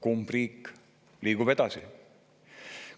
Kumb riik liigub edasi?